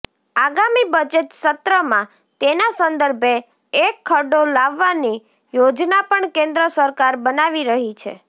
આગામી બજેટ સત્રમાં તેના સંદર્ભે એક ખરડો લાવવાની યોજના પણ કેન્દ્ર સરકાર બનાવી રહી છે